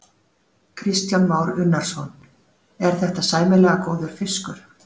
Kristján Már Unnarsson: Er þetta sæmilega góður fiskur?